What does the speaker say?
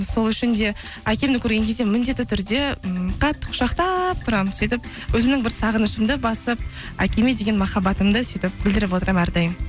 сол үшін де әкемді көрген кезде міндетті түрде м қатты құшақтап тұрамын сөйтіп өзімнің бір сағынышымды басып әкеме деген махаббатымды сөйтіп білдіріп отырамын әрдайым